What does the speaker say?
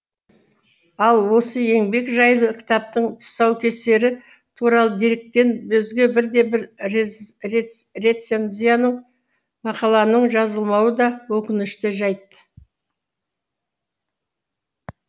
ал осы еңбек жайлы кітаптың тұсаукесері туралы деректен өзге бірде бір рецензияның мақаланың жазылмауы да өкінішті жайт